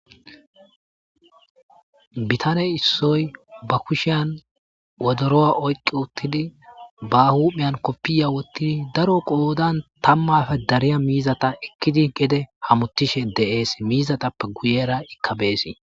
Bitaney issoy ba kushiyan wodoroa oyqqi uttidi ba humhiyan koppiya wottidi daro qoodan tammafe dariya miizata ekkidi gede hamotishe deees miizatappe guyera ikkabeesii.